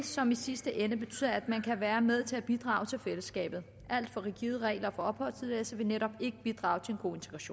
som i sidste ende betyder at man kan være med til at bidrage til fællesskabet alt for rigide regler for opholdstilladelse vil netop ikke bidrage til